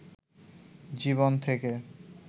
জীবন থেকে